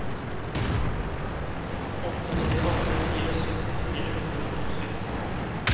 åtte tre åtte fire sytti fire hundre og sytti